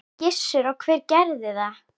Gissur: Og hver gerði það?